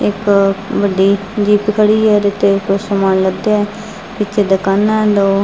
ਇੱਕ ਵੱਡੀ ਜਿੱਪ ਖੜੀ ਹੈ ਓਹਦੇ ਤੇ ਕੁਛ ਸਮਾਨ ਲੱਦਿਆ ਹੈ ਇੱਥੇ ਦੁਕਾਨਾਂ ਹੈਂ ਦੋ।